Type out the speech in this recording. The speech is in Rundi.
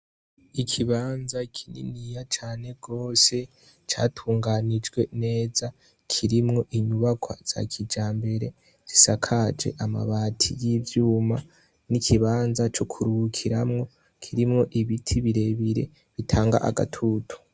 Ikibanza kininiya cane rwose catunganijwe neza, kirimwo inyubakwa za kijambere zisakaje amabati y'ivyuma n'ikibanza c'ukuruhukiramwo kirimwo ibiti birebire bitanga agatutu.